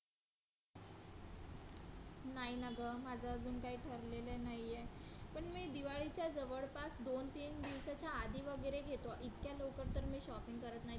नाही ना गं माझं अजून काही ठरलेलं नाही आहे पण मी दिवाळीच्या जवळपास दोन-तीन दिवसाच्या आधी वगैरे घेतो इतक्या लवकर तर मी shopping करत नाही.